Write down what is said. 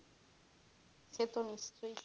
সেতো নিশ্চয়ই